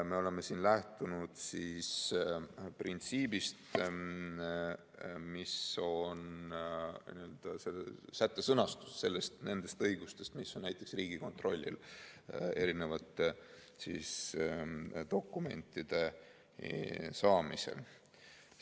Me oleme lähtunud printsiibist, mis on sõnastatud selles sättes nende õiguste kohta, mis on näiteks Riigikontrollil dokumentide saamisel.